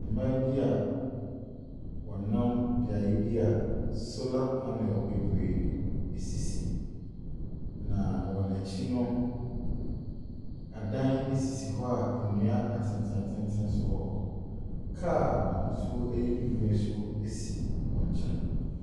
Mmaa bia ɔnam beaeɛ bia solar panel bebree esisi. Na wɔakyi no, adan esisi hɔ a nnua atentenatenten nso ɛwɔ ho. Car n'hosuo ɛyɛ bibre nso esi wɔn kyɛn.